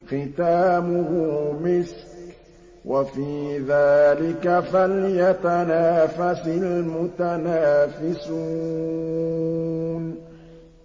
خِتَامُهُ مِسْكٌ ۚ وَفِي ذَٰلِكَ فَلْيَتَنَافَسِ الْمُتَنَافِسُونَ